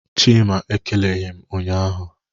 Chima ekeleghị m ụnyahụ.